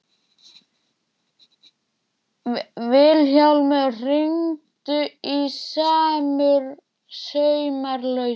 Vilhjálmur, hringdu í Sumarlausu.